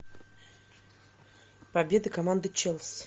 победы команды челси